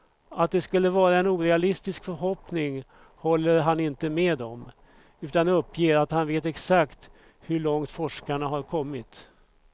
Att det skulle vara en orealistisk förhoppning håller han inte med om, utan uppger att han vet exakt hur långt forskarna har kommit.